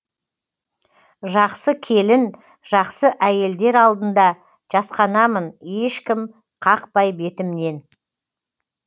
жақсы келін жақсы әйелдер алдында жасқанамын ешкім қақпай бетімнен